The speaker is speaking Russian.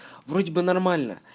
вроде бы нормально